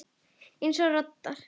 Eins og radar.